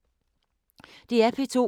DR P2